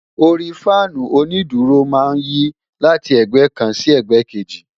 Orí Fáànù onídùúró máa ń yí láti ẹ̀gbẹ́ kan sí ẹ̀gbẹ́ kejì.